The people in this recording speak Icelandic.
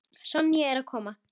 Sonja er að koma.